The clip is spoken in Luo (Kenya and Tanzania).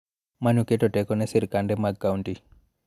Ma ne oketo teko ne sirkande mag kaunti.